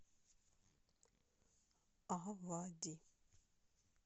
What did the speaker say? авади